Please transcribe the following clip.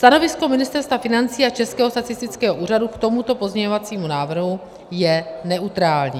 Stanovisko Ministerstva financí a Českého statistického úřadu k tomuto pozměňovacímu návrhu je neutrální.